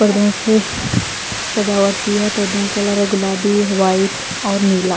पर्दों से सजावट की है पर्दों का कलर है गुलाबी वाइट और नीला--